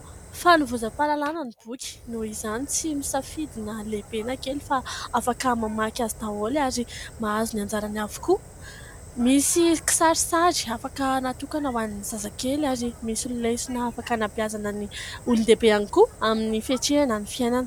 Fanovozam-pahalalana ny boky, noho izany tsy misafidy na lehibe na kely fa afaka mamaky azy daholo ary mahazo ny anjarany avokoa. misy kisarisary afaka natokana ho an'ny zazakely ary misy lesona afaka anabeazana ny olondehibe ihany koa amin'ny fiatrehana ny fianana.